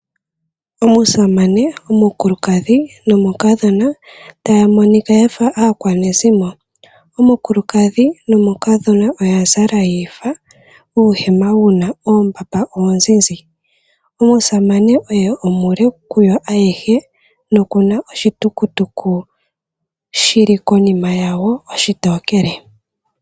Omusamane, omukulukadhi nomukadhona taya monika ya fa aakwanezimo. Omukulukadhi nomukadhona oya zala yi ifa, uuhema wu na oombapa oozizi. Omusamane oye omule kuyo ayehe noku na oshitukutuku shi li konima yawo ayehe.